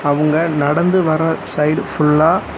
அவுங்க நடந்து வர சைடு ஃபுல்லா .